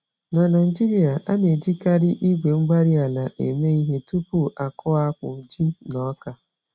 Na Naijiria, a na-ejikarị igwe-mgbárí-ala eme ihe tupu akụọ akpụ, ji, na ọka.